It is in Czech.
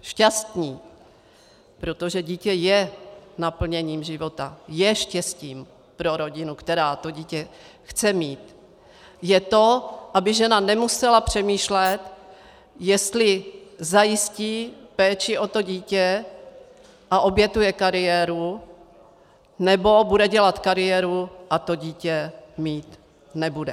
šťastni, protože dítě je naplněním života, je štěstím pro rodinu, která to dítě chce mít, je to, aby žena nemusela přemýšlet, jestli zajistí péči o to dítě a obětuje kariéru, nebo bude dělat kariéru a to dítě mít nebude.